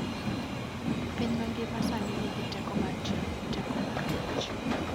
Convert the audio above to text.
Piny mangima sani nigi teko mar tiyo gi teko mar mach.